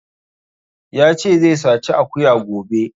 Ya ce zai saci akuya gobe